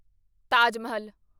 Taj Mahal